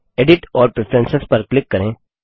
edit और preference पर click करें